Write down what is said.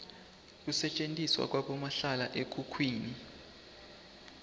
kusetjentiswa kwabomahlala ekhukhwini